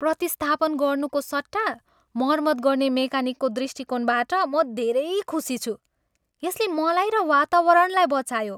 प्रतिस्थापन गर्नुको सट्टा मर्मत गर्ने मेकानिकको दृष्टिकोणबाट म धेरै खुशी छु। यसले मलाई र वातावरणलाई बचायो।